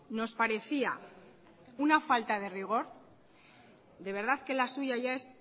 nos parecía una falta de rigor de verdad que la suya ya es